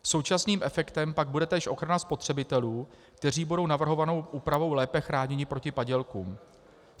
Současným efektem pak bude též ochrana spotřebitelů, kteří budou navrhovanou úpravou lépe chráněni proti padělkům.